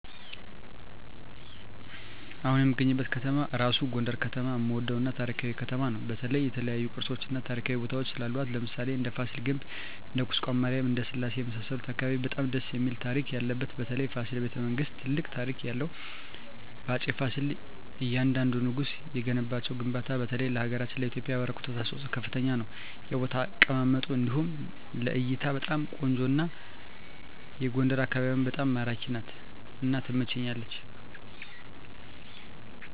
አሁን እምገኝበት ከተማ እራሡ ጎንደር ከተማ እምወደው እና ታሪካዊ ከተማ ነው በተለይ የተለያዮ ቅርሶች እና ታሪካዊ ቦታወች ስላሏት ለምሣሌ እንደ ፍሲል ግቢ እንደ ቁስቋም ማሪያም እንደ ስላሴ የመሣሠሉት አካባቢ በጣም ደስ እሚል ታሪክ ያለበት በተለይ ፋሲል በተ መንግስት ትልቅ ታሪክ ያለው በአፄ ፍሲል እያንደንዱ ንጉስ የገነቧቸው ግንባታ በተለይ ለሀገራችን ለኢትዮጵያ ያበረከቱት አስተዋፅኦ ከፍተኛ ነው የቦታ አቀማመጡ እንዲሁ ለእይታ በጣም ቆንጆ ነው አና ጎንደር አካቢዋ በጣም ማራኪ ናት እና ትመቸኛለች